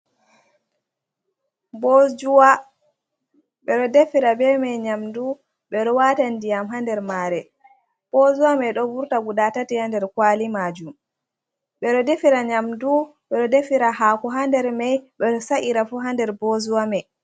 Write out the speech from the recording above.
Bojuwa. Ɓe ɗo defira be mai nyamdu, ɓe ɗo waata ndiyam haa nder maare. Bozuwa mai ɗo vurta guda tati haa nder kwali maajum, ɓe ɗo defira nyamdu, ɓe ɗo defira haako haa nder mai, ɓe ɗo sa’ira fu haa nder bozuwa mai.